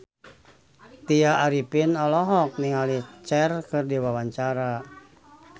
Tya Arifin olohok ningali Cher keur diwawancara